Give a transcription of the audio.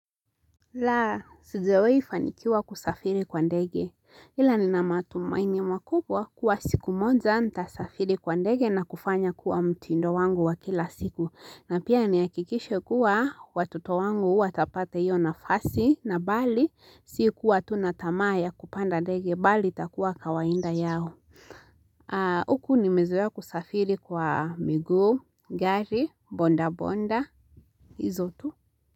La, sijawai fanikiwa kusafiri kwa ndege. Ila nina matumaini makubwa kuwa siku moja nitasafiri kwa ndege na kufanya kuwa mtindo wangu wa kila siku. Na pia niakikishe kuwa watoto wangu huwa watapata hiyo nafasi na bali si kuwa tu na tamaa ya kupanda ndege bali itakuwa kawaida yao. Huku nimezoea kusafiri kwa miguu, gari, ''bodaboda'', hizo tu.